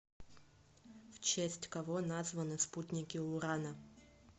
в честь кого названы спутники урана